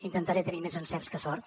intentaré tenir més encerts que sort